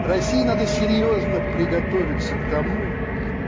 россии надо серьёзно приготовиться к тому